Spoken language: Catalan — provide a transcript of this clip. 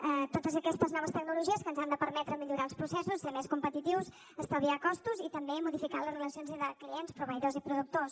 totes aquestes noves tecnologies que ens han de permetre millorar els processos ser més competitius estalviar costos i també modificar les relacions entre clients proveïdors i productors